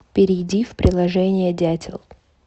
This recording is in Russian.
перейди в приложение дятел